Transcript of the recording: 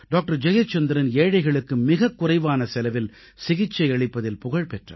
ஜெயச்சந்திரன் ஏழைகளுக்கு மிக குறைவான செலவில் சிகிச்சை அளிப்பதில் புகழ் பெற்றவர்